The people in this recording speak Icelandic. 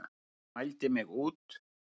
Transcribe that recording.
Hún mældi mig út.